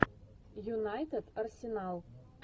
юнайтед арсенал